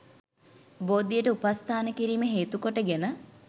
බෝධියට උපස්ථාන කිරීම හේතුකොට ගෙන